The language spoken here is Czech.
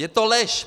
Je to lež!